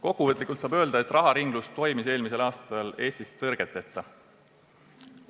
Kokkuvõtlikult saab öelda, et raharinglus toimis eelmisel aastal Eestis tõrgeteta.